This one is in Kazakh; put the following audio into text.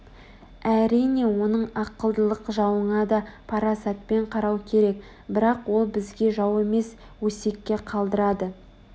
Әрине оның ақылдылық жауыңа да парасатпен қарау керек бірақ ол бізге жау емес өсекке қалдырады